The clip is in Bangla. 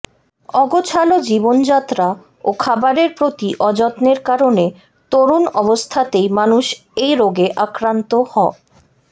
অগোছালো জীবনযাত্রা ও খাবারের প্রতি অযত্নের কারণে তরুণ অবস্থাতেই মানুষ এই রোগে আক্রান্ত হ